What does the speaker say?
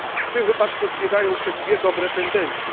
W tym wypadku zbiegają się dwie dobre tendencje.